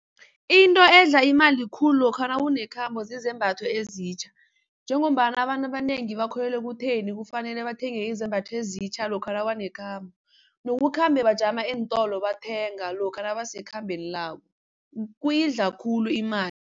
Into edla imali khulu lokha nawunekhambo zizembatho ezitjha, njengombana abantu abanengi bakholelwa ekutheni kufanele bathenge izembatho ezitjha lokha nabanekhambo. Nokukhambe bajama eentolo bathenga lokha nabasekhambeni labo, kuyidla khulu imali.